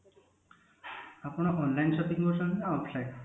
ଆପଣ online shopping କରୁଛନ୍ତି ନା offline